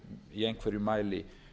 í einhverjum mæli